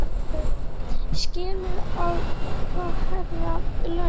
Hugrún: Skilið að fá hærri laun?